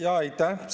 Aitäh!